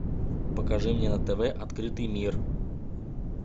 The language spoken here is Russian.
покажи мне на тв открытый мир